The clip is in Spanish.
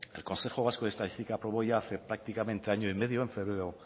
el consejo vasco de estadística aprobó ya hace prácticamente año y medio en febrero